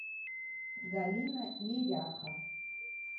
галина меряха